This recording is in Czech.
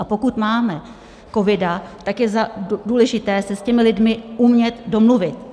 A pokud máme covid, tak je důležité se s těmi lidmi umět domluvit.